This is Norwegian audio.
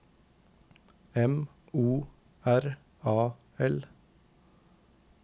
M O R A L